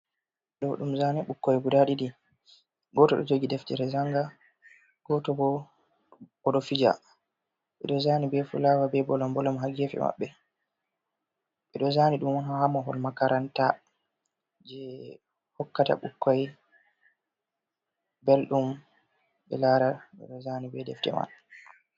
Do dum zane ɓukkoi guda ɗidi goto do jogi deftere janga goto bo odo fija, ɓedo zani be fulawa be bolom bolom ha gefe mabɓe ɓedo zani dum hamahol makaranta je hokkata bukkoi beldum be lara ɓedo zani be defte man.